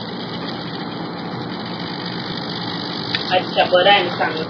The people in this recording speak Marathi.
अच्छा बरं आहेना चांगल.